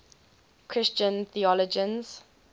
christian theologians